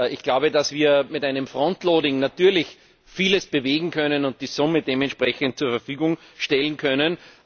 Ich glaube, dass wir mit einem natürlich vieles bewegen können und die Summe dementsprechend zur Verfügung stellen können.